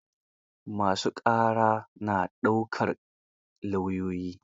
Ma su ƙara na daukar lauyoyi.